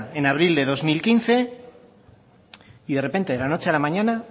en abril de dos mil quince y de repente de la noche a la mañana